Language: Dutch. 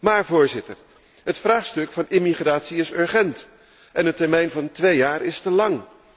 Maar, voorzitter, het vraagstuk van immigratie is urgent en de termijn van twee jaar is te lang.